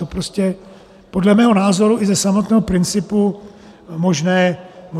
To prostě podle mého názoru i ze samotného principu možné není.